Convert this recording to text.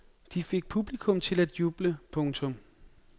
De fik publikum til at juble. punktum